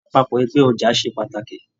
Apapọ ẹgbẹ ọja se pàtàkì.